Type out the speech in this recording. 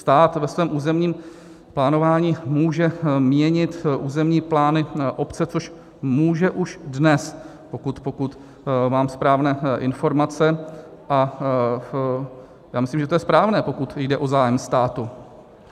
Stát ve svém územním plánování může měnit územní plány obce, což může už dnes, pokud mám správné informace, a já myslím, že to je správné, pokud jde o zájem státu.